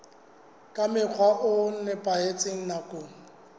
ka mokgwa o nepahetseng nakong